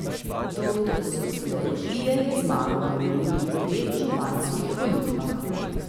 Doktor sociologije je zmagal na minulih dveh županskih volitvah.